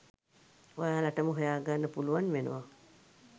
ඔයාලටම හොයා ගන්න පුලුවන් වෙනව.